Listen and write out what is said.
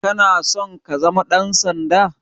Kana son ka zama ɗansanda?